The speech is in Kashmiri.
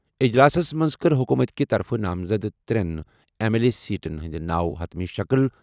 اجلاسَس منٛز کٔر حکوٗمت کہِ طرفہٕ نامزد ترٛٮ۪ن ایم ایل سی سیٹَن ہٕنٛدۍ ناو حتمی شکٕل۔